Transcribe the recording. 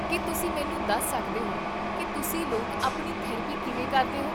ਕੀ ਤੁਸੀਂ ਮੈਨੂੰ ਦੱਸ ਸਕਦੇ ਹੋ ਕੀ ਤੁਸੀਂ ਲੋਕ ਆਪਣੀ ਥੈਰੇਪੀ ਕਿਵੇਂ ਕਰਦੇ ਹੋ?